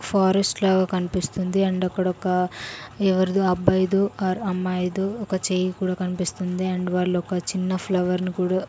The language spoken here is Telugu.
ఫారెస్ట్ లాగా కన్పిస్తుంది అండ్ అక్కడొక ఎవరిదో అబ్బాయిదో ఆర్ అమ్మాయిదో ఒక చేయి కూడా కన్పిస్తుంది అండ్ వాళ్ళొక చిన్న ఫ్లవర్ ను కూడా --